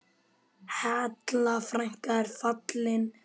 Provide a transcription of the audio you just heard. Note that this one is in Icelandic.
Halla frænka er fallin frá.